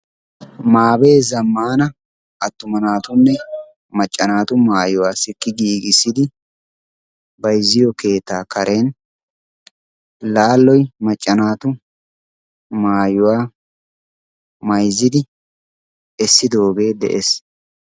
Mabee zammaana attuma naatunne macca naatu mayuwaa sikki giigissid bayzziyoo keettaa karen laaloy macca naatu mayuwaa mayzzidi essidoogee de'es.